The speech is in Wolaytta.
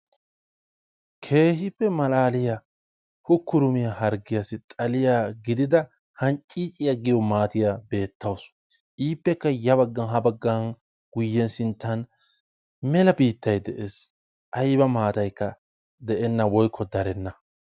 keehippe malaaliyaa hukurumiyaa hargiyaasi xaliyaa giidida hancciiciyaa giyoo maatiyaa beetawus. iippekka ya baagan ha baagan guuyen sinttan meela biittay de'ees. ayba maataykka de'enna woykko darenna.